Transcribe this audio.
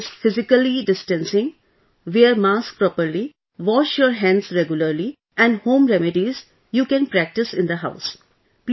Please practice physically distancing, wear mask properly, wash your hands regularly and home remedies you can practice in the house